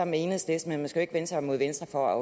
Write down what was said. med enhedslisten man skal ikke vende sig mod venstre